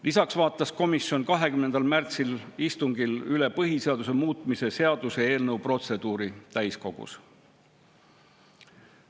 Lisaks vaatas komisjon 20. märtsi istungil üle põhiseaduse muutmise seaduse eelnõu protseduuri täiskogus.